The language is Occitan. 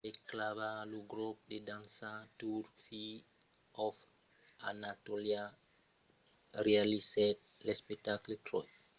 per clavar lo grop de dança turc fire of anatolia realizèt l’espectacle troy